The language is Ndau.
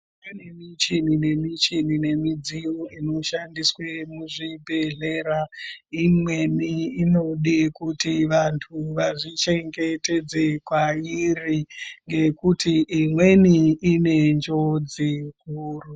Kune michini nemichini nemidziyo inoshandiswe muzvibhedhlera, imweni inode kuti vantu vazvichengetedze kwairi, ngekuti imweni ine njodzi huru.